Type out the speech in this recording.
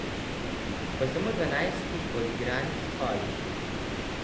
Po samo dvanajstih odigranih kolih.